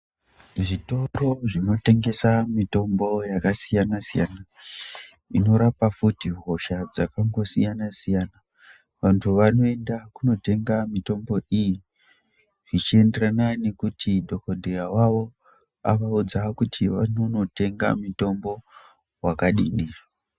Zvitoro zvinotengese mitombo yakasiyanasiyana inorapa futi hosha dzakasiyanasiyana vantu vanoenda kunotenga mitombo iyi zvichienderana nekuti dhokodheya wavo avaudza kuti vanonetenga wakadini.